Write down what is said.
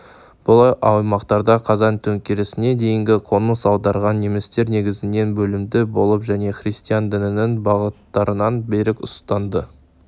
бұл аймақтарға қазан төңкерісіне дейінгі қоныс аударған немістер негізінен білімді болып және христиан дінінің бағыттарын берік ұстанды